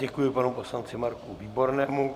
Děkuji panu poslanci Marku Výbornému.